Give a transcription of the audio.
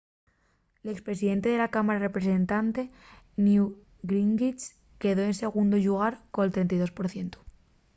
l’ex presidente de la cámara de representantes newt gingrich quedó en segundu llugar col 32 por cientu